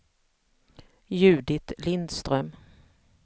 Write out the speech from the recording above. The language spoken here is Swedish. Judit Lindström